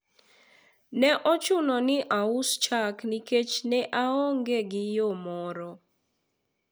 ne ochuno ni aus chak nikech ne aonge gi yo moro